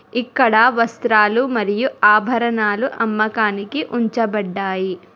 ఇక్కడ వస్త్రాలు మరియు ఆభరణాలు అమ్మకానికి ఉంచబడ్డాయి.